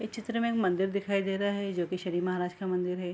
इस चित्र में मंदिर दिखाई दे रहा है जो की शनि महाराज का मंदिर है।